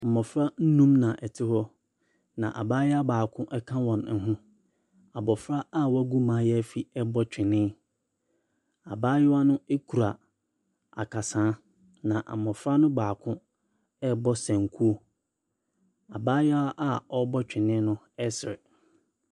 Mbɔfra num na ɛte hɔ, na abaayewa baako ɛka wɔn ho. Abɔfra a wegu mayaafi ɛɛbɔ twene, abaayewa no ekura akasaa na mbɔfra no baako ɛɛbɔ senkuo. Abaayewa a ɔɔbɔ twene ɛsere.